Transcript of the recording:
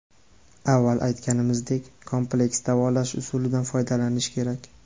Avval aytanimizdek, kompleks davolash usulidan foydalanish kerak.